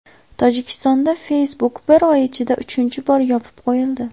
Tojikistonda Facebook bir oy ichida uchinchi bor yopib qo‘yildi.